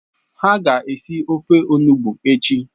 Ha ga esi ofe olugbu echi.